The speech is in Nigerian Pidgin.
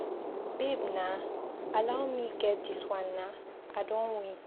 Babe naa, allow me get dis wan naa. I don win!!